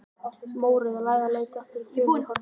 Mórauð læða leitar að æti í fjörunni í Hornvík.